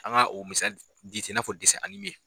An ka o misali di ten i n'a fɔ .